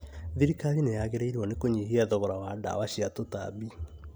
Thirikari nĩyagĩrĩirwo nĩ kũnyihia thogora wa ndawa cia tũtambi